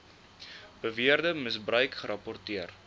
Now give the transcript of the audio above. beweerde misbruik gerapporteer